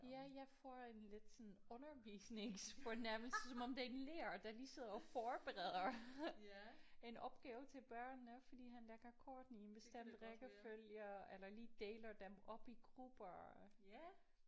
Ja jeg får en lidt sådan undervisningsfornemmelse som om det er en lærer der lige sidder og forbereder en opgave til børnene fordi han lægger kortene i en bestemt rækkefølge eller lige deler dem op i grupper